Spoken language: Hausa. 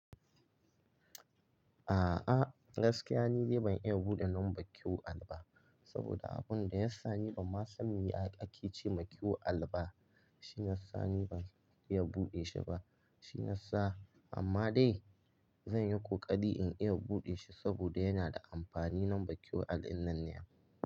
A'a, gaskiya ni dai ban iya buɗe namban q al ba. Saboda abun da ya sa ni ban ma san ake ce ma Q al ba, shiyasa ni ban iya buɗe shi ba. Shiyasa, amma dai zan yi ƙoƙari in iya buɗe shi saboda yana da amfani lambar QR dinnan ne.